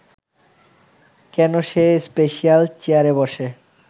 কেন সে স্পেশাল চেয়ারে বসে